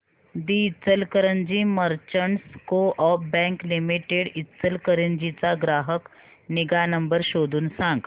दि Ichalkaranji merchants co-op bank limited Ichalkaranji चा ग्राहक निगा नंबर शोधून सांग